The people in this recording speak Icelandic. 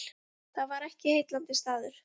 Það var ekki heillandi staður.